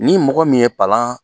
Ni mɔgɔ min ye palan